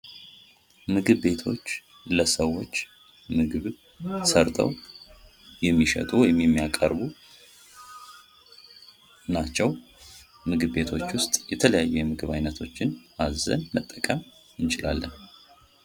ምግብ ቤቶች ለሰዎች ምግብ ሰርተው የሚሸጡ ወይም የሚያቀርቡ ናቸው። እህቶች ውስጥ የተለያዩ የምግብ ዓይነቶችን አዘን መጠቀም እንችላለን።